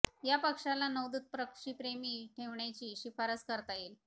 या पक्ष्याला नौदूत पक्षी प्रेमी ठेवण्याची शिफारस करता येईल